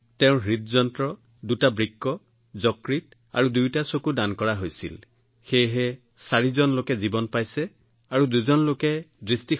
তেওঁৰ হৃদযন্ত্ৰ দুটা বৃক্ক যকৃত আৰু দুয়োটা চকু দান কৰা হৈছিল সেয়েহে চাৰিজন লোকে তেওঁলোকৰ জীৱন ঘূৰাই পাইছিল আৰু দুজন লোকে চকু